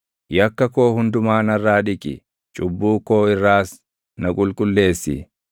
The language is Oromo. Yakka koo hundumaa narraa dhiqi; cubbuu koo irraas na qulqulleessi.